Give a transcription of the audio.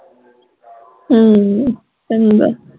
ਅਮ ਚੰਗਾ